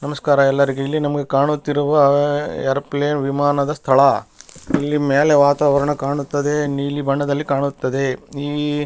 ನಮಸ್ಕಾರ ಎಲ್ಲರಿಗೆ ಇಲ್ಲಿ ನಮಗೆ ಕಾಣುತ್ತಿರುವ ಏರೊಪ್ಲೇನ್ ವಿಮಾನದ ಸ್ಥಳ ಇಲ್ಲಿ ಮೇಲೆ ವಾತಾವರಣ ಕಾಣುತ್ತದೆ ನೀಲಿ ಬಣ್ಣದಲ್ಲಿ ಕಾಣುತ್ತದೆ ನಿ --